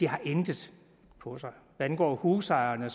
har intet på sig hvad angår husejerne